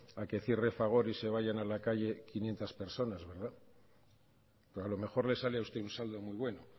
a que cierre fagor y se vayan a la calle quinientos personas a lo mejor le sale a usted un saldo muy bueno